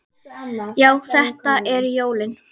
Já, þetta eru jólin!